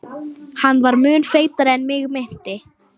Hann var mun feitari en mig minnti.